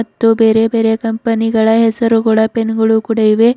ಮತ್ತು ಬೇರೆ ಬೇರೆ ಕಂಪನಿ ಗಳ ಹೆಸರುಗಳ ಪೆನ್ ಗಳು ಕೂಡ ಇವೆ.